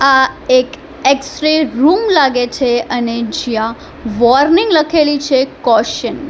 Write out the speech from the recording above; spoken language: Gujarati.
આ એક એક્સ્ટ્રી રૂમ લાગે છે અને જ્યાં વોર્નિંગ લખેલી છે કોશન ની--